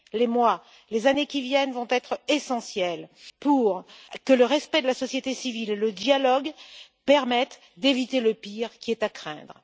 Les mois, les années qui viennent vont être essentiels pour que le respect de la société civile et le dialogue permettent d'éviter le pire, qui est à craindre.